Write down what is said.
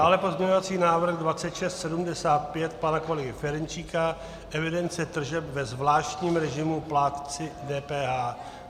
Dále pozměňovací návrh 2675 pana kolegy Ferjenčíka - evidence tržeb ve zvláštním režimu plátci DPH.